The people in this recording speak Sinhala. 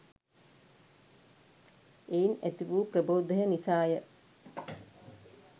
එයින් ඇතිවූ ප්‍රබෝධය නිසා ය